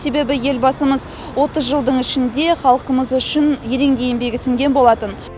себебі елбасымыз отыз жылдың ішінде халқымыз үшін ерен еңбегі сіңген болатын